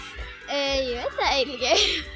ég veit það ekki